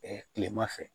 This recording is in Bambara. tilema fɛ